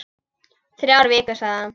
Þrjár vikur, sagði hann.